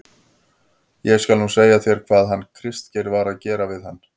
ÉG SKAL NÚ SEGJA ÞÉR HVAÐ HANN KRISTGEIR VAR AÐ GERA VIÐ HANN.